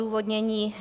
Odůvodnění.